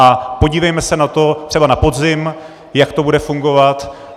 A podívejme se na to třeba na podzim, jak to bude fungovat.